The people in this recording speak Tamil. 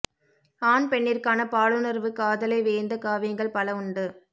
ஆண் பெண்ணிற்கான பாலுணர்வு காதலை வியந்த காவியங்கள் பல உண்டு